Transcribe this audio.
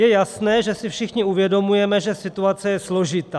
Je jasné, že si všichni uvědomujeme, že situace je složitá.